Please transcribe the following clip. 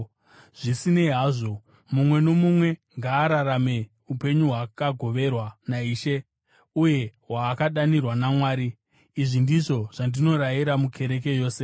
Zvisinei hazvo, mumwe nomumwe ngaararame upenyu hwaakagoverwa naIshe uye hwaakadanirwa naMwari. Izvi ndizvo zvandinorayira mukereke yose.